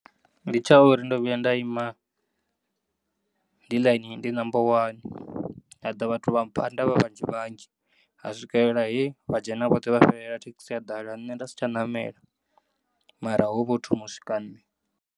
Ndi tshauri ndo vhuya nda ima ndi layinini ndi namba wani haḓa vhathu vha mphanda vha vhanzhi vhanzhi, ha swikelela he vha dzhena vhoṱhe vha fhelela thekisi ya ḓala nne ndasitsha namela mara hovho ho thoma u swika nne.